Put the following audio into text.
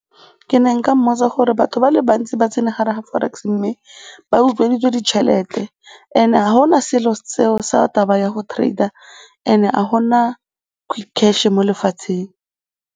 Ke ne nka mmotsa gore batho ba le bantsi ba tsene gare ga forex mme ba utsweditswe ditšhelete and-e ga go na selo seo sa taba ya go trade-a and-e ga gona quick cash mo lefatsheng.